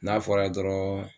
N'a fɔra dɔrɔn.